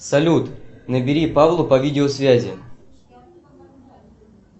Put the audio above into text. салют набери павлу по видеосвязи